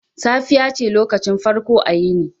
Safiya ce lokacin farko a yini.